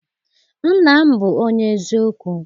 nna m bu onye eziokwu.